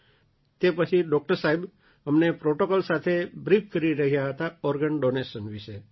તે પછી ડૉક્ટર સાહેબ અમને પ્રૉટોકૉલ સાથે બ્રીફ કરી રહ્યા હતા ઑર્ગન ડૉનેશન વિશે